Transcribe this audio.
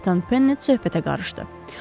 Kapitan Pennet söhbətə qarışdı.